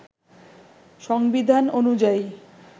সংবিধান অনুযায়ী